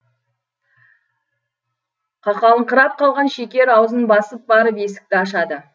қақалыңқырап қалған шекер аузын басып барып есікті ашады